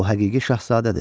O həqiqi şahzadədir.